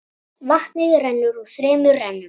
Vatnið rennur í þremur rennum.